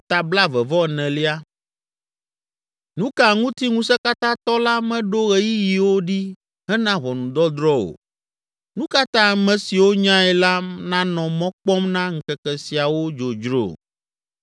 “Nu ka ŋuti Ŋusẽkatãtɔ la meɖo ɣeyiɣiwo ɖi hena ʋɔnudɔdrɔ̃ o? Nu ka ta ame siwo nyae la nanɔ mɔ kpɔm na ŋkeke siawo dzodzro?